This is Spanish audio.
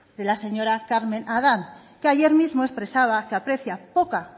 de la señora carmen adán que ayer mismo expresaba que aprecia poca